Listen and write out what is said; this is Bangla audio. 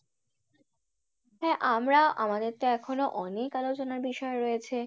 হ্যাঁ আমরা আমাদের তো এখনও অনেক আলোচনার বিষয় রয়েছে